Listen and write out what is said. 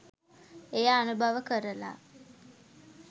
එය අනුභව කරලා